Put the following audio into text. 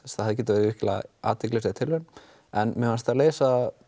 það hefði getað verið athyglisverð tilraun en mér fannst þær leysa